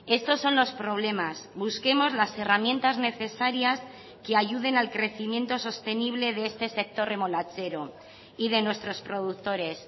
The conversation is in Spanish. estos son los problemas busquemos las herramientas necesarias que ayuden al crecimiento sostenible de este sector remolachero y de nuestros productores